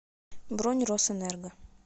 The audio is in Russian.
бронь росэнерго